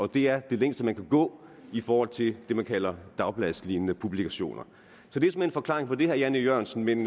det er det længste man kan gå i forhold til det man kalder dagbladslignende publikationer så det er såmænd forklaringen på det herre jan e jørgensen men